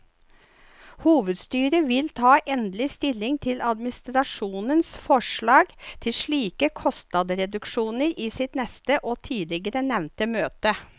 Hovedstyret vil ta endelig stilling til administrasjonens forslag til slike kostnadsreduksjoner i sitt neste og tidligere nevnte møte.